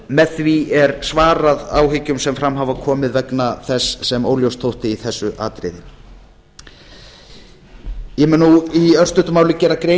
með því er svarað áhyggjum sem fram hafa komið vegna þess sem óljóst þótti í þessu atriði ég mun nú í örstuttu máli gera grein